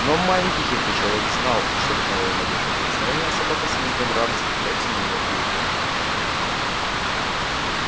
но маленький хитрый человек знал что от одного его малейшего прикосновения собака с визгом радости бросится на него и утопит